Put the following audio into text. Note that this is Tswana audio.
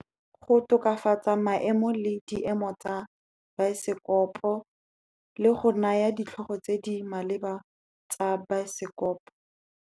Go tokafatsa maemo le diemo tsa baesekopo, le go naya ditlhogo tse di maleba tsa baesekopo.